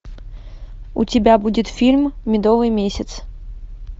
у тебя будет фильм медовый месяц